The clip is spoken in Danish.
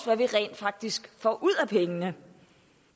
hvad vi rent faktisk får ud af pengene